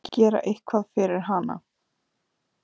Gera eitthvað fyrir hana.